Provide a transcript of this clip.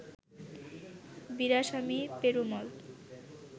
Veeraswamy Perumal